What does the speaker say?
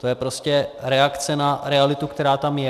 To je prostě reakce na realitu, která tam je.